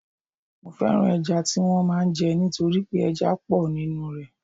Mo fẹ́ràn ẹja tí wọ́n máa ń jẹ nítorí pé ẹja pọ̀ nínú rẹ̀